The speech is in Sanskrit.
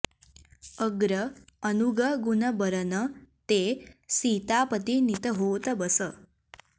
अग्र अनुग गुन बरन तें सीतापति नित होत बस